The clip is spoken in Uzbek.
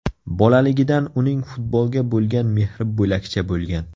Bolaligidan uning futbolga bo‘lgan mehri bo‘lakcha bo‘lgan.